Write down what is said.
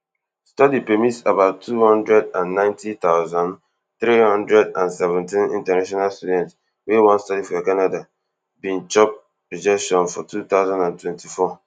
study permits about two hundred and ninety thousand, three hundred and seventeen international student wey wan study for canada bin chop rejection for two thousand and twenty-four